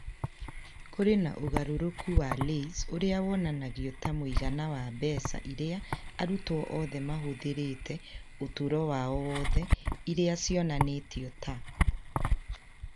Kũrĩ na ũgarũrũku wa LAYS ũrĩa wonanagio ta mũigana wa mbeca iria arutwo othe mahũthĩrĩte ũtũũro wao wothe, iria cionanĩtio ta